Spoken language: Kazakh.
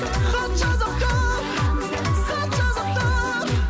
хат жазып тұр хат жазып тұр